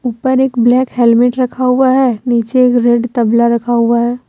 ऊपर एक black helmet रखा हुआ है नीचे एक रेड तबला रखा हुआ है।